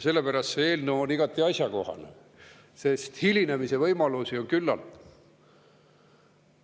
Selle pärast on see eelnõu igati asjakohane, sest hilinemise võimalusi on küllalt.